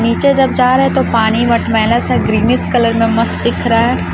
नीचे जब जा रहे हैं तो पानी मटमैला सा ग्रीनीश कलर में मस्त दिख रहा है।